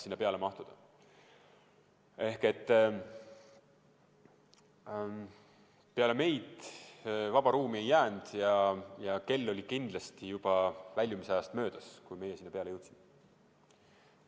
Seega peale meid vaba ruumi ei jäänud ja kell oli kindlasti juba väljumisajast möödas, kui meie sinna peale jõudsime.